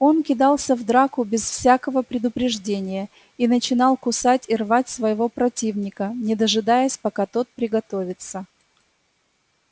он кидался в драку без всякою предупреждения и начинал кусать и рвать своего противника не дожидаясь пока тот приготовится